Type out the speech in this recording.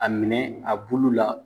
A minɛ a bulu la